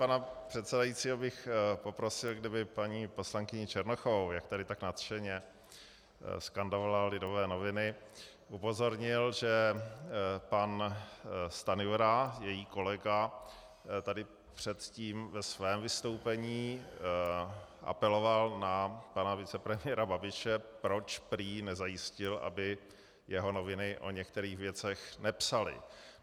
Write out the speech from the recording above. Pana předsedajícího bych poprosil, kdyby paní poslankyni Černochovou, jak tady tak nadšeně skandovala Lidové noviny, upozornil, že pan Stanjura, její kolega, tady předtím ve svém vystoupení apeloval na pana vicepremiéra Babiše, proč prý nezajistil, aby jeho noviny o některých věcech nepsaly.